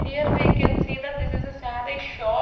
here we can see that this is a saree shop.